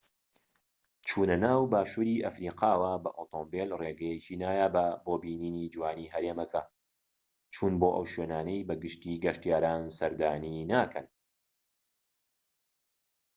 چونەناو باشووری ئەفریقاوە بە ئۆتۆمبیل ڕێگەیەکی نایابە بۆ بینینی جوانیی هەرێمەکە و چون بۆ ئەو شوێنانەی بە گشتیی گەشتیاران سەردانی ناکەن